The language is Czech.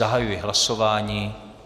Zahajuji hlasování.